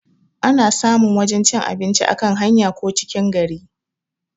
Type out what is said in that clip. Ana samun wajan cin abinci a kan hanya ko cikin gari